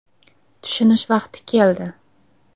“Tushunish vaqti keldi.